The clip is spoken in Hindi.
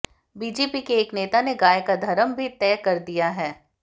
बीजेपी के एक नेता ने गाय का धर्म भी तय कर दिया है